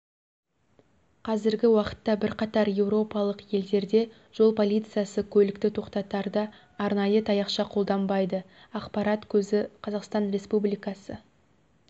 қазіргі уақытта бірқатар еуропалық елдерде жол полициясы көлікті тоқтатарда арнайы таяқша қолданбайды ақпарат көзі қазақстан республикасы